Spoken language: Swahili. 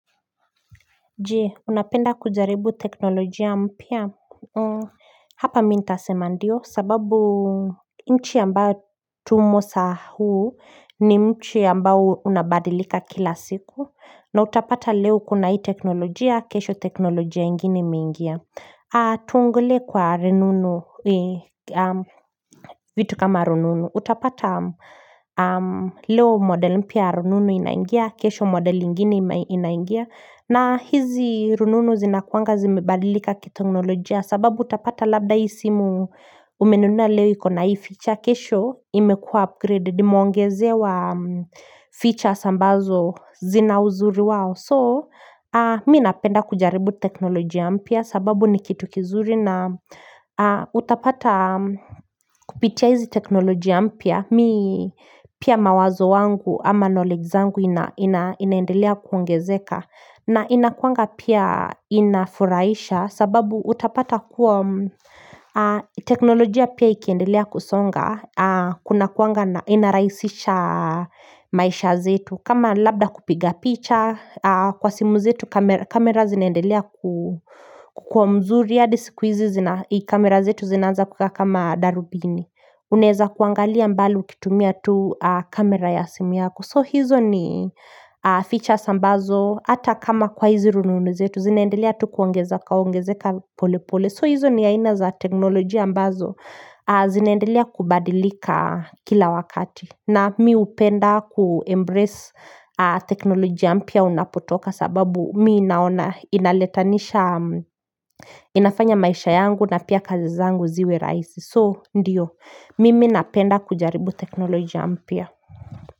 Jee unapenda kujaribu teknolojia mpya. Hapa mi ntasema ndio sababu Mchi yamba tumo sa huu ni mchi ambaO unabadilika kila siku na utapata leo kuna hii teknolojia kesho teknolojia inginemeingia Tuongule kwa rinunu vitu kama rununu Utapata leo modeli mpya rununu inaingia kesho modeli ingine inaingia na hizi rununu zinakuanga zimebalika kitingnolojia sababu utapata labda hii simu Umenuna leo iko na hii feature kesho imekua upgraded imeongezewa features ambazo zina uzuri wao So mi napenda kujaribu teknolojia mpya sababu ni kitu kizuri na utapata kupitia hizi teknolojia mpya pia mawazo wangu ama knowledge zangu inaendelea kuongezeka na inakuanga pia inafuraisha sababu utapata kuwa teknolojia pia ikiendelea kusonga kuna kuanga inarahisisha maisha zetu kama labda kupiga picha kwa simu zetu kamera zineendelea kukua mzuri adi sikwizi zina i kamera zetu zinaanza kukaa kama darubini uneza kuangalia mbali ukitumia tu kamera ya simu yako so hizo ni features ambazo ata kama kwa hizi rununu zetu zineendelea tu kuongezaka ongezeka pole pole so hizo ni aina za teknolojia ambazo zinaendelea kubadilika kila wakati na mi upenda ku embrace teknolojia mpya unapotoka Kwa sababu mii naona inaletanisha inafanya maisha yangu na pia kazi zangu ziwe rahisi So, ndiyo, mimi napenda kujaribu teknolojia mpya.